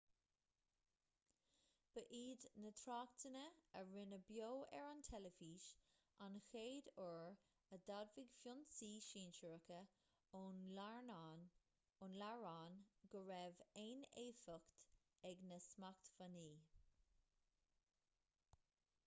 ba iad na tráchtanna a rinneadh beo ar an teilifís an chéad uair a d'admhaigh foinsí sinsearacha ón iaráin go raibh aon éifeacht ag na smachtbhannaí